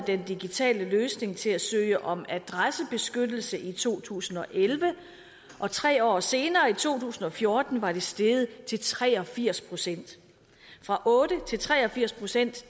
den digitale løsning til at søge om adressebeskyttelse i to tusind og elleve og tre år senere i to tusind og fjorten var det steget til tre og firs procent fra otte til tre og firs procent